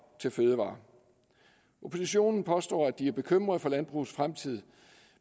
til fødevarer oppositionen påstår at de er bekymret for landbrugets fremtid